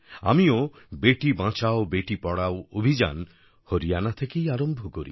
আমিও বেটি বাচাও বেটি পড়াও অভিযান হরিয়ানা থেকেই আরম্ভ করি